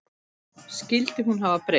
Skyldi hún hafa breyst?